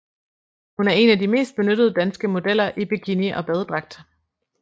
Hun er en af de mest benyttede danske modeller i bikini og badedragt